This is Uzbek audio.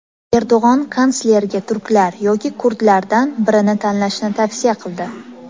Erdo‘g‘on kanslerga turklar yoki kurdlardan birini tanlashni tavsiya qildi.